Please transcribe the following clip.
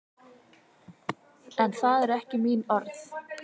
En það eru ekki mín orð.